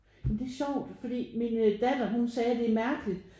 Men det er sjovt for min datter hun sagde det er mærkeligt